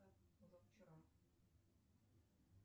позавчера